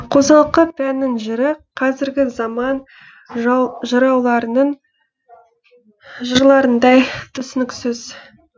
қосалқы пәннің жыры қазіргі заман жырауларының жырларындай түсініксіз